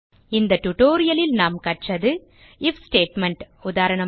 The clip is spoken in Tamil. இந்த டியூட்டோரியல் லில் நாம் கற்றது ஐஎஃப் ஸ்டேட்மெண்ட் உதாரணமாக